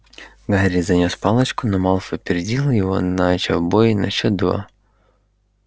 гарри занёс палочку но малфой опередил его начав бой на счёт два